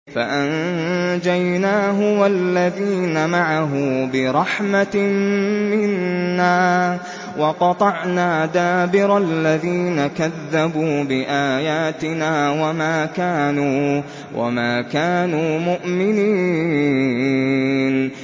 فَأَنجَيْنَاهُ وَالَّذِينَ مَعَهُ بِرَحْمَةٍ مِّنَّا وَقَطَعْنَا دَابِرَ الَّذِينَ كَذَّبُوا بِآيَاتِنَا ۖ وَمَا كَانُوا مُؤْمِنِينَ